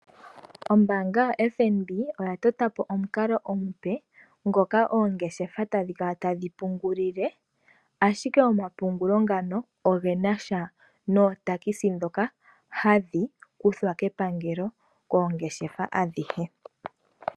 Ombaanga yaFNB oya totapo omukalo omupe ngoka oongeshefa tadhi kala tadhi pungulile, ashike omapungulo ngano ogenasha notax ndhoka hadhi kuthwa kepangelo koongeshefa adhihe.